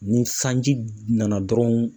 Ni sanji nana dɔrɔnw